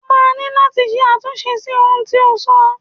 Ó máa ni láti ṣe àtúnṣe sí ohun tí o sọ.